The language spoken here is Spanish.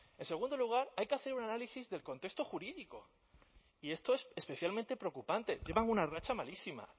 en segundo lugar hay que hacer un análisis del contexto jurídico y esto es especialmente preocupante llevan una racha malísima